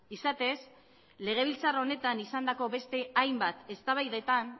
izatez legebiltzar honetan izandako beste hainbat eztabaidetan